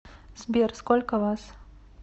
сбер сколько вас